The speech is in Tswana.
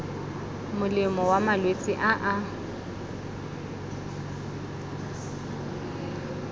molemo wa malwetse a a